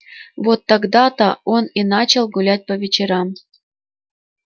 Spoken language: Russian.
вот тогда то он и начал гулять по вечерам